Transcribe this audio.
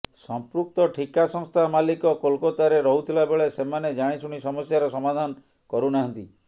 ସଂପୃକ୍ତ ଠିକା ସଂସ୍ଥା ମାଲିକ କୋଲକାତାରେ ରହୁଥିଲାବେଳେ ସେମାନେ ଜାଣିଶୁଣି ସମସ୍ୟାର ସମାଧାନ କରୁ ନାହାଁନ୍ତି